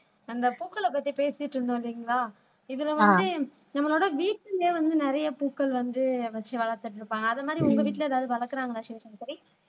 அந்த பூக்கள பத்தி பேசிட்டு இருந்தோம் இல்லைங்களா இதுல வந்து நம்மளோட வீட்டிலேயே வந்து நிறைய பூக்கள் வந்து வச்சு வளர்த்துட்டு இருப்பாங்க அது மாதிரி உங்க வீட்ல ஏதாவது வளர்க்கிறாங்களா சிவசங்கரி